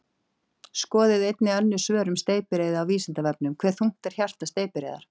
Skoðið einnig önnur svör um steypireyði á Vísindavefnum: Hve þungt er hjarta steypireyðar?